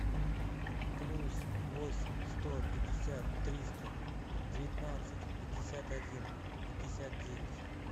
плюс восемь сто пятьдесят триста девятнадцать пятьдесят один пятьдесят девять